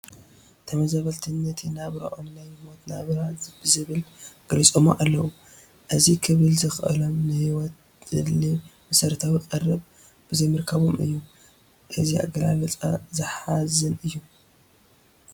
ተመዛበልቲ ነቲ ናብርኦም ናይ ሞት ናብራ ብዝብል ገሊፆሞ ኣለዉ፡፡ እዚ ክብሉ ዘኽኣሎም ንህይወት ዘድሊ መሰረታዊ ቀረብ ብዘይምርካቦም እዩ፡፡ እዚ ኣገላልፃ ዘሕዝን እዩ፡፡